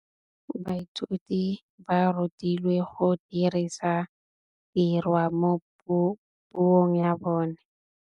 Baithuti ba rutilwe go dirisa tirwa mo puong ya bone.